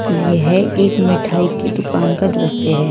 यह एक मिठाई की दुकान का दृश्य है।